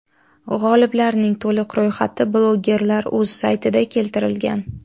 G‘oliblarning to‘liq ro‘yxati bloggerlar.uz saytida keltirilgan.